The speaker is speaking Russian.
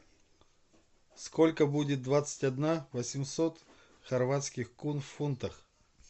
сколько будет двадцать одна восемьсот хорватских кун в фунтах